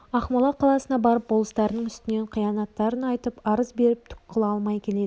ақмола қаласына барып болыстарының үстінен қиянаттарын айтып арыз беріп түк қыла алмай келеді екен